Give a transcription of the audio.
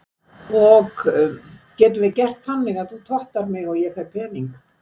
ok getum við gert þannig að þú tottar mig og ég fæ pening?